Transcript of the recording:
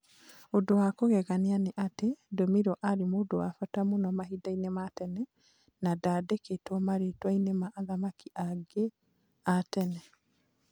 Ũndũ wa kũgegania nĩ atĩ, ndomirwo arĩ mũndũ wa bata mũno mahinda-inĩ ma tene na ndaandĩkĩtwo marĩĩtwa-inĩ ma athamaki aingĩ a tene.